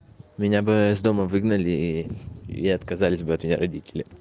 меня бы из дома выгнали и отказались бы от меня родители